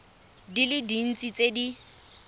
di le dintsi tse di